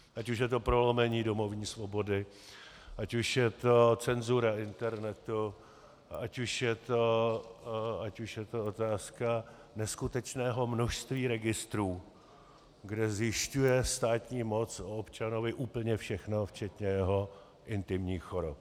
Ať už je to prolomení domovní svobody, ať už je to cenzura internetu, ať už je to otázka neskutečného množství registrů, kde zjišťuje státní moc o občanovi úplně všechno včetně jeho intimních chorob.